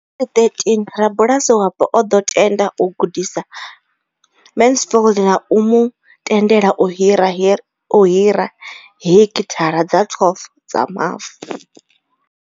Nga 2013, rabulasi wapo o ḓo tenda u gudisa Mansfield na u mu tendela u hira hekithara dza 12 dza mavu.